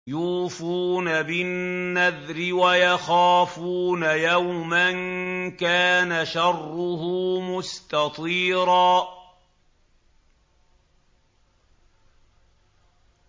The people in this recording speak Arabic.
يُوفُونَ بِالنَّذْرِ وَيَخَافُونَ يَوْمًا كَانَ شَرُّهُ مُسْتَطِيرًا